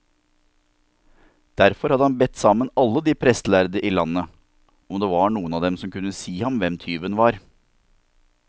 Derfor hadde han bedt sammen alle de prestlærde i landet, om det var noen av dem som kunne si ham hvem tyven var.